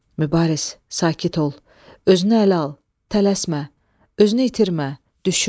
Mübariz, sakit ol, özünü ələ al, tələsmə, özünü itirmə, düşün.